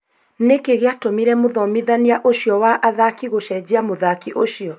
Nĩkĩ gĩatũmire mũthomithania ũcio wa athaki gũcenjia mũthaki ũcio?